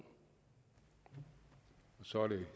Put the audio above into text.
sådan